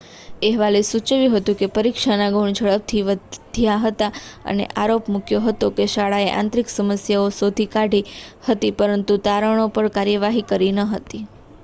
અહેવાલે સૂચવ્યું હતું કે પરીક્ષાના ગુણ ઝડપથી વધ્યા હતા અને આરોપ મૂક્યો હતો કે શાળાએ આંતરિક સમસ્યાઓ શોધી કાઢી હતી પરંતુ તારણો પર કાર્યવાહી કરી ન હતી